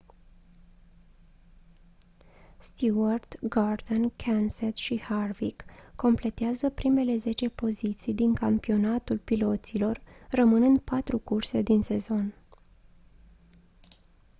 stewart gordon kenseth și harvick completează primele zece poziții din campionatul piloților rămânând patru curse din sezon